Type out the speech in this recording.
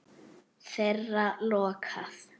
Þeirra lokað.